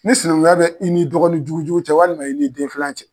Ni sinɛnkunya bɛ i ni dɔgɔninjugujugu cɛ walima i ni den filan cɛ